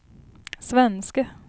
svenske